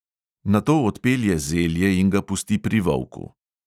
Nato odpelje zelje in ga pusti pri volku.